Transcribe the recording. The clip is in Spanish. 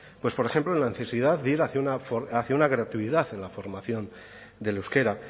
pues por ejemplo en la necesidad de ir hacia una hacia una creatividad en la formación del euskera